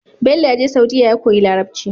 Bello yaje saudiya ya koyi larabci